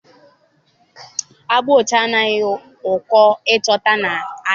Agba ọcha adịghị ụkọ ịchọta n'ahịa.